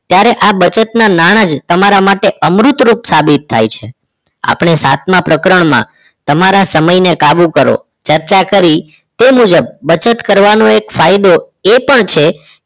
ત્યારે આ બચતના નાણાં જ તમારા માટે અમૃત રૂપ સાબિત થાય છે આપણે સાતમા પ્રકરણમાં તમારા સમયને કાબુ કરો ચર્ચા કરી તે મુજબ બચત કરવાનો એક ફાયદો એ પણ છે